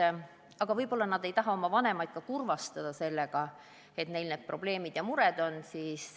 Ja võib olla ka nii, et noored ei taha oma vanemaid kurvastada sellega, et neil on probleemid ja mured.